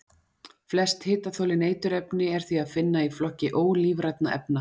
Flest hitaþolin eiturefni er því að finna í flokki ólífrænna efna.